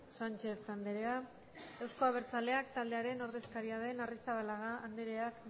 sánchez andrea euzko abertzaleak taldearen ordezkaria den arrizabalaga andreak